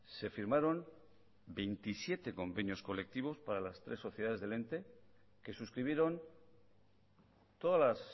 se firmaron veintisiete convenios colectivos para las tres sociedades del ente que suscribieron todas las